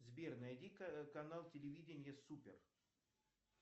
сбер найди канал телевидения супер